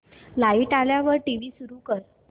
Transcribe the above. light आल्यावर TV सुरू कर